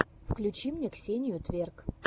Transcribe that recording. включи мне ксению тверк